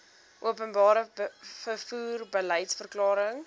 openbare vervoer beliedsverklaring